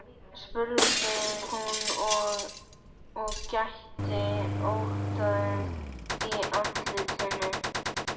spurði hún og gætti ótta í andlitinu.